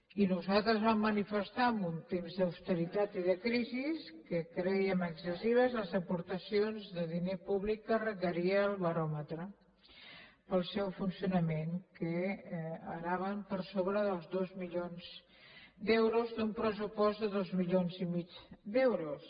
i nosaltres vam manifestar en un temps d’austeritat i de crisi que crèiem excessives les aportacions de diner públic que requeria el baròmetre per al seu funcionament que anaven per sobre dels dos milions d’euros d’un pressupost de dos mi lions i mig d’euros